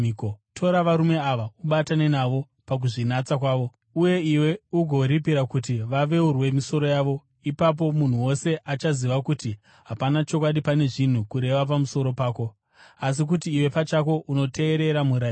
Tora varume ava, ubatane navo pakuzvinatsa kwavo, uye iwe ugovaripira kuti vaveurwe misoro yavo. Ipapo munhu wose achaziva kuti hapana chokwadi pane zviri kurehwa pamusoro pako, asi kuti iwe pachako unoteerera murayiro.